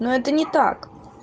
но это не так